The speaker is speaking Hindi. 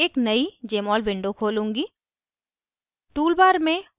अतः मैं एक नयी jmol window खोलूंगी